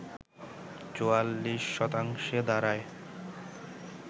৪৪ শতাংশে দাঁড়ায়